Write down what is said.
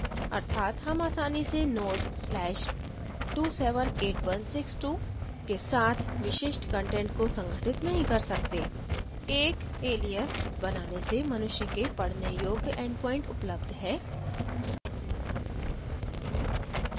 अर्थात हम आसानी से node/278162 के साथ विशिष्ट कंटेंट को संगठित नहीं कर सकते एक alias बनाने से मनुष्य के पढ़ने योग्य endpoint उपलब्ध है